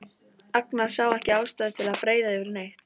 Agnar sá ekki ástæðu til að breiða yfir neitt.